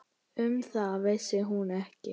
Um það vissi hún ekki.